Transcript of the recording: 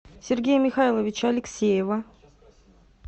сергея михайловича алексеева